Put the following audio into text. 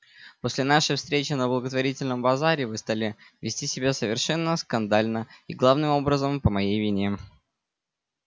после нашей встречи на благотворительном базаре вы стали вести себя совершенно скандально и главным образом по моей вине